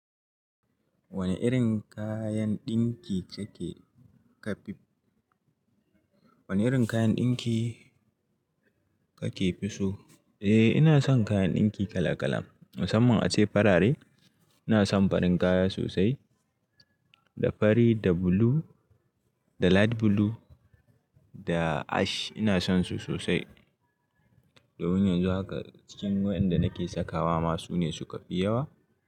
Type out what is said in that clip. Wane irin kayan ɗinki kake ka fi, wane irin kayan ɗinki kake fi so? Eh, ina son kayan ɗinki kala kala. Musaman ace farare, ina son farin kaya sosai, da fari, da blue, da light blue, da ash ina sonsu sosai. Da wani yanzu haka cikin wadanda nake sakawa ma su ne suka fi yawa.